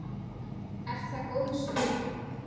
Er það góðs viti.